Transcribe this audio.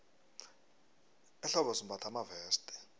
ehlobo simbatha amaveste